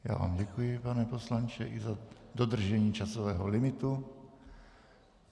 Já vám děkuji, pane poslanče i za dodržení časového limitu.